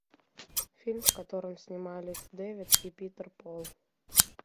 фильм в котором снимались дэвид и питер пол